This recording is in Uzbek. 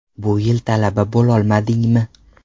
Bu yil talaba bo‘lolmadingmi?